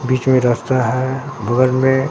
बीच में रास्ता है बगल में।